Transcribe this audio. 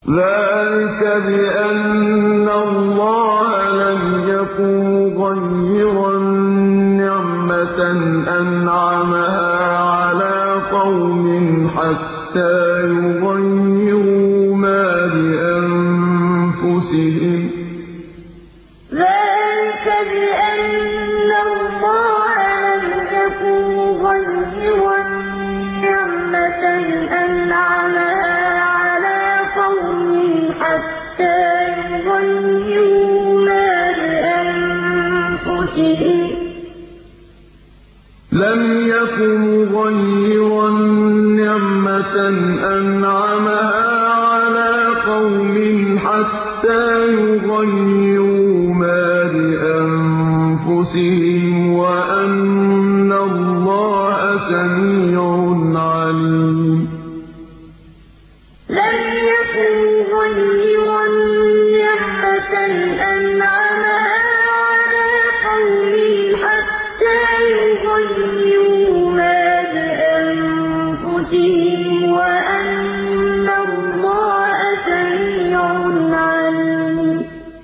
ذَٰلِكَ بِأَنَّ اللَّهَ لَمْ يَكُ مُغَيِّرًا نِّعْمَةً أَنْعَمَهَا عَلَىٰ قَوْمٍ حَتَّىٰ يُغَيِّرُوا مَا بِأَنفُسِهِمْ ۙ وَأَنَّ اللَّهَ سَمِيعٌ عَلِيمٌ ذَٰلِكَ بِأَنَّ اللَّهَ لَمْ يَكُ مُغَيِّرًا نِّعْمَةً أَنْعَمَهَا عَلَىٰ قَوْمٍ حَتَّىٰ يُغَيِّرُوا مَا بِأَنفُسِهِمْ ۙ وَأَنَّ اللَّهَ سَمِيعٌ عَلِيمٌ